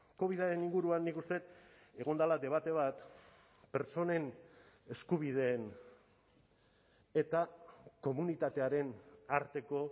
covidaren inguruan nik uste dut egon dela debate bat pertsonen eskubideen eta komunitatearen arteko